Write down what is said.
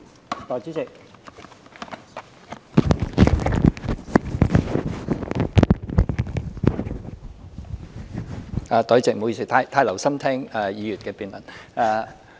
代理主席，不好意思，我太留心聽議員的辯論。